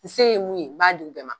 N se ye mun ye, n b'a d'u bɛɛ ma.